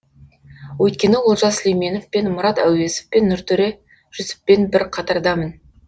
өйткені олжас сүлейменовпен мұрат әуезовпен нұртөре жүсіппен бір қатардамын